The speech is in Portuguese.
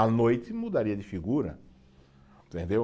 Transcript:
À noite mudaria de figura, entendeu?